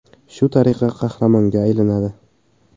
Shu tariqa qahramonga aylanadi.